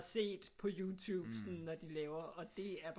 Set på YouTube når de laver og det er bare